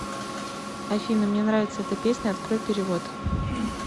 афина мне нравится эта песня открой перевод